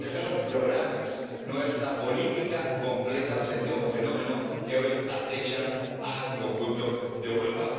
pero esto son programas, no es una política completa frente a un fenómeno que hoy acecha al conjunto de Europa.